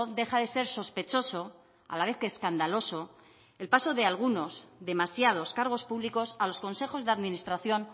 deja de ser sospechoso a la vez que escandaloso el paso de algunos demasiados cargos públicos a los consejos de administración